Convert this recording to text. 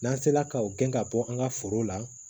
N'an sera ka o gɛn ka bɔ an ka foro la